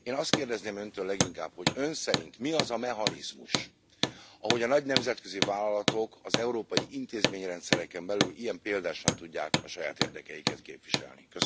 Én azt kérdezném Öntől leginkább, hogy Ön szerint mi az a mechanizmus, amelynek révén a nagy nemzetközi vállalatok az európai intézményrendszeren belül ilyen példásan tudják saját érdekeiket képviselni?